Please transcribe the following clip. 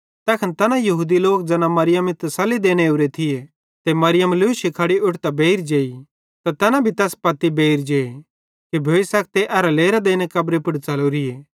तैखन तैना यहूदी लोक ज़ैना मरियमी तस्सली देने ओरे थिये मरियम लूशी खड़ी उट्ठतां बेइर जेई त तैना भी तैस पत्ती बेइर जे कि भोइ सखते ए लेरां देने कब्री पुड़ च़लोरिए